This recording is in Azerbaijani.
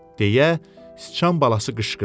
deyə sıçan balası qışqırdı.